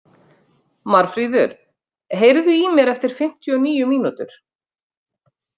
Marfríður, heyrðu í mér eftir fimmtíu og níu mínútur.